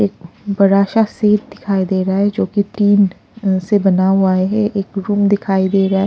एक बड़ा सा सेट दिखाई दे रहा है जो कि टीन से बना हुआ है एक रूम दिखाई दे रहा है।